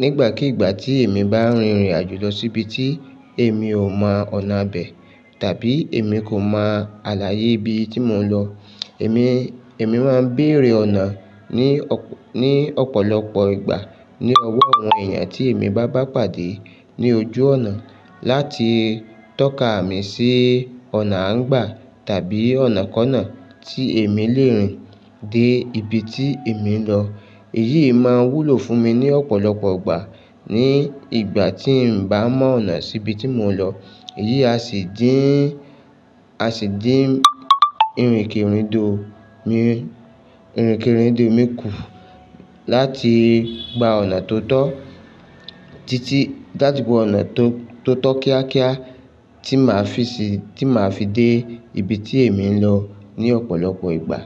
Ní ìgbàkígbà tí èmi bá rin ìrìn àjò lọ síbi tí èmi ò mọ ọ̀nà bẹ̀ tàbí èmi kò mọ àlàyé ibi tí mò ń lọ, èmi, èmi máa ń bèrè ọ̀nà ní ọ̀pọ̀lọpọ̀ ìgbà ní ọwọ́ àwọn ènìyàn tí èmi bá bá pàdé ní ojú ọ̀nà láti tọ́ka mi sí ọ̀nà à ń gbà tàbí ọ̀nà kọ́ọ̀kan náà tí èmi lè rìn dé ibi tí èmi ń lọ. Èyí máa ń wúlò fún mi ní ọ̀pọ̀lọpọ̀ ìgbà ní ìgbà tí n bá mọ ọ̀nà sí ibi tí mò ń lọ. Èyí a sì dín, a sì dín ìrìnkèrindò mi, ìrìnkèrindò mi kù láti gba ọ̀nà tó tọ́, títí láti gba ọ̀nà tó tọ́ kíákíá tí màá fi dé ibi tí èmi ń lọ ní ọ̀pọ̀lọpọ̀ ìgbà.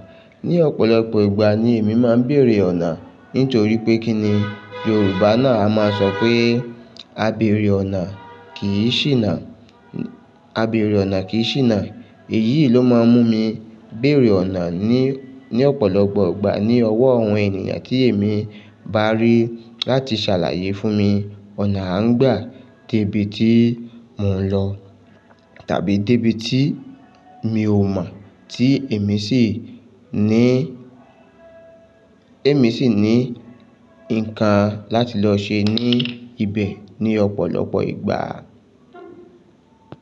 Ní ọ̀pọ̀lọpọ̀ ìgbà ni èmi máa ń bèrè ọ̀nà nítorí pé kí ni Yorùbá náà a máa sọ pé "A bèrè ọ̀nà kì í ṣìnà". "A bèrè ọ̀nà kì í ṣìnà". Èyí ló máa ń mú mi bèrè ọ̀nà ní, ní ọ̀pọ̀lọpọ̀ ìgbà ní ọwọ́ àwọn ènìyàn tí èmi bá rí láti ṣàlàyé fún mi ọ̀nà a ń gbà dé ibi tí mò ń lọ tàbí dé ibi tí mi ò mọ tí èmi sì ní, èmi sì ní nǹkan láti lọ ṣe ní ibẹ̀ ní ọ̀pọ̀lọpọ̀ ìgbà.